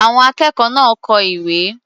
Àwọn akẹ́kọ̀ọ́ náà kọ ìwé.